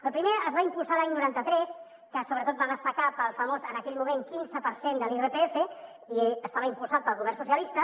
el primer es va impulsar l’any noranta tres que sobretot va destacar pel famós en aquell moment quinze per cent de l’irpf i estava impulsat pel govern socialista